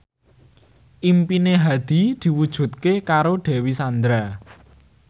impine Hadi diwujudke karo Dewi Sandra